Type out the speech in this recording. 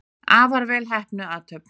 Afar vel heppnuð athöfn.